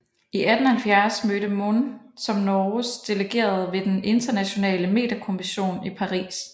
I 1870 mødte Mohn som Norges delegerede ved den internationale meterkommission i Paris